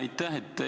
Aitäh!